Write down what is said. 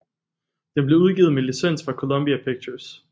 Den blev udgivet med licens fra Columbia Pictures